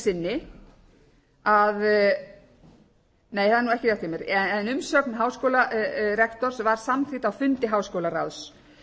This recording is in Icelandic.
sinni nei það er nú ekki rétt hjá mér en umsögn háskólarektors var samþykkt á fundi háskólaráðs